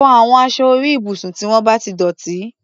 Fọ àwọn aṣọ orí ibùsùn tí wọ́n bá ti dọ̀tí!